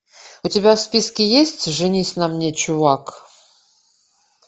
у тебя в списке есть женись на мне чувак